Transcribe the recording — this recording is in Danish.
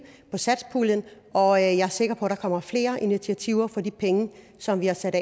fra satspuljen og jeg er sikker på der kommer flere initiativer for de penge som vi har sat